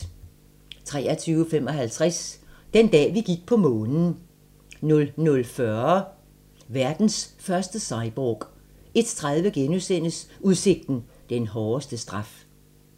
23:55: Den dag, vi gik på Månen 00:40: Verdens første cyborg 01:30: Udsigten - den hårdeste straf *